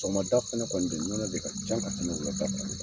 Sɔgɔmada fɛnɛ de nɔnɔ de ka ca ka tɛmɛ wulada sanni kan